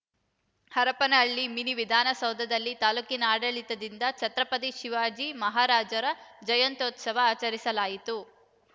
Harapanahalli mini ವಿಧಾನಸೌಧದಲ್ಲಿ ತಾಲೂಕಿನ ಆಡಳಿತದಿಂದ ಛತ್ರಪತಿ ಶಿವಾಜಿ ಮಹಾರಾಜರ ಜಯಂತ್ಯುತ್ಸವ ಆಚರಿಸಲಾಯಿತು